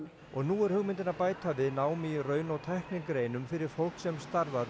og nú er hugmyndin að bæta við námi í raun og tæknigreinum fyrir fólk sem starfar við